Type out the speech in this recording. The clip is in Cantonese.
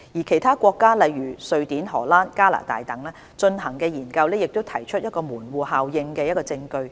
其他國家，例如瑞典、荷蘭、加拿大等，進行的研究也提出門戶效應的證據。